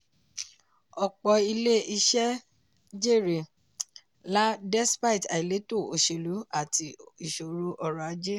ọ̀pọ̀ ilé-iṣẹ́ jèrè lá despite àìléto oselú àti ìṣòro ọrọ̀ ajé.